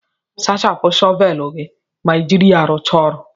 Sachapụ shọvelu gị ma ị jiri ya rụcha ọrụ